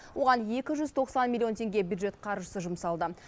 оған екі жүз тоқсан миллион теңге бюджет қаржысы жұмсалды